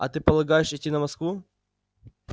а ты полагаешь идти на москву